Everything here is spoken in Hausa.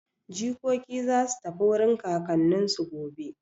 Jikoki za su tafi wurin kakanninsu gobe.